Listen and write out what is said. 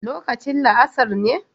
Lokacin la'asar ne